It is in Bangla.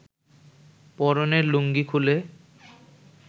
পরনের লুঙ্গি খুলে